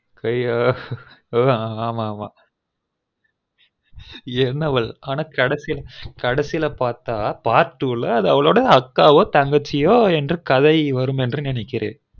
ஐயோ ஹ்ஹ் ஆமா ஆமா என்னவள் ஆனா கடைசில பாத்தா part two ல அவளொட அக்காவோ தங்கையோ கதை வருனு நெனைகுரேன்